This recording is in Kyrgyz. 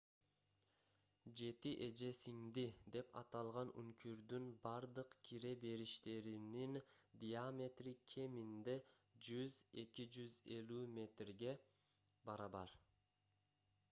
"жети эже-сиңди деп аталган үңкүрдүн бардык кире бериштеринин диаметри кеминде 100–250 метрге 328–820 фут барабар